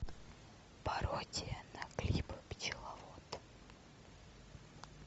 пародия на клип пчеловод